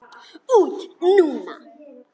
Út núna?